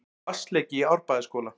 Vatnsleki í Árbæjarskóla